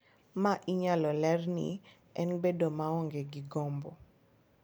Ma inyalo ler ni en bedo maonge gi gombo.